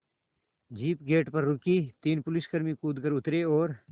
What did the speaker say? jeep gate पर रुकी तीन पुलिसकर्मी कूद कर उतरे और